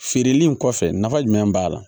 Feereli in kɔfɛ nafa jumɛn b'a la